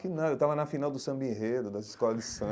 Que nada, eu estava na final do samba enredo, das escolas de samba.